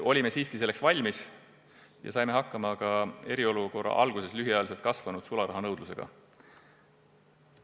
Olime selleks siiski valmis ja saime hakkama ka eriolukorra alguses lühiajaliselt kasvanud sularahanõudlusega.